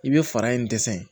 I bɛ fara in dɛsɛ